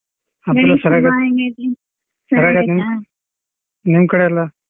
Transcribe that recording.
ನಿಮ್ ಕಡೆ ಎಲ್ಲ.